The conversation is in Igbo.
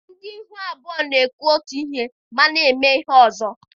Ndị ihu abụọ na-ekwu otu ihe ma na-eme ihe ọzọ